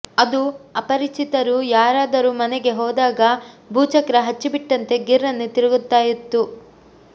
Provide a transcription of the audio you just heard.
ಅದು ಅಪರಿಚಿತರು ಯಾರಾದರೂ ಮನೆಗೆ ಹೋದಾಗ ಭೂಚಕ್ರ ಹಚ್ಚಿಟ್ಟಂತೆ ಗಿರ್ರನೆ ತಿರುಗುತಾ ಇತ್ತು